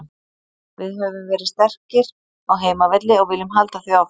Við höfum verið sterkir á heimavelli og viljum halda því áfram.